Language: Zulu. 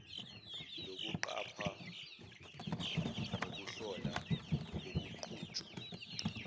lokuqapha nokuhlola ukuqhutshwa